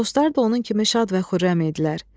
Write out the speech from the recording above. Dostları da onun kimi şad və xürrəm idilər.